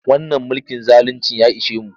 Wannan mulkin zaluncin ya ishe mu.